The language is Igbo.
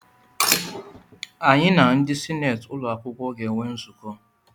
Anyị na ndị sineeti ụlọakwụkwọ ga-enwe nzukọ.